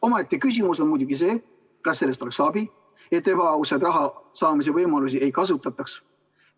Omaette küsimus on muidugi, kas sellest oleks abi, et ebaausaid raha saamise võimalusi ei kasutataks.